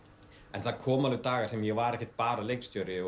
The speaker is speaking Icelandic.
en það komu alveg dagar þar sem ég var ekki bara leikstjóri